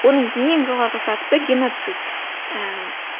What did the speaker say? оның ең жоғарғы сатысы геноцид ііі